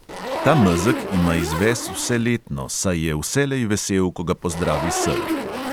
Ta mezeg ima izves vseletno, saj je vselej vesel, ko ga pozdravi sel.